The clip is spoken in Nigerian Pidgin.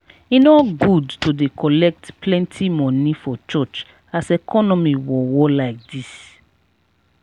e no good to dey collect plenty moni for church as economy worwor lai dis.